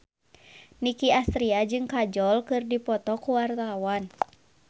Nicky Astria jeung Kajol keur dipoto ku wartawan